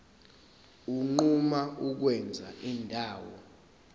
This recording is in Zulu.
unquma ukwenza indawo